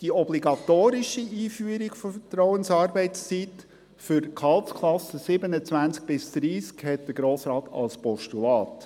Die obligatorische Einführung der Vertrauensarbeitszeit für die Gehaltsklassen 27–30 überwies der Grosse Rat als Postulat.